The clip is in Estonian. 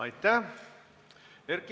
Aitäh!